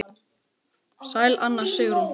Sæl Anna Sigrún.